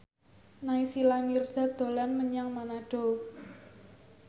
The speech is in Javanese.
Naysila Mirdad dolan menyang Manado